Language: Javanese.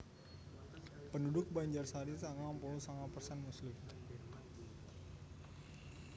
Penduduk Banjarsari sangang puluh sanga persen muslim